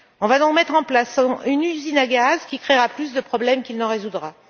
On va donc mettre en place une usine à gaz qui créera plus de problèmes qu'elle n'en résoudra.